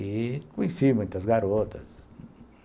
E conheci muitas garotas.